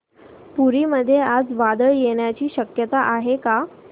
पुरी मध्ये आज वादळ येण्याची शक्यता आहे का